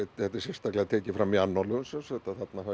sérstaklega tekið fram í annálum að